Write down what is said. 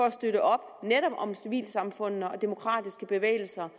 at støtte op om civilsamfundene og de demokratiske bevægelser